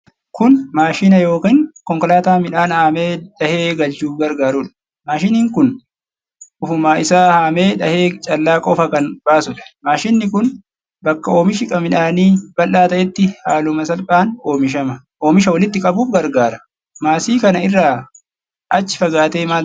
Kun maashina yookiin konkolaataa midhaan haamee dhahee galchuuf gargarudha. Maashinni kun ofuma isaa haamee dhahee callaa qofa kan baasudha. Maashinni kun bakka oomishi midhaanii bal'aa ta'etti haaluma salphaan oomisha walitti qabuuf gargaara. Maasii kana irraa achi fagaatee maaltu jira?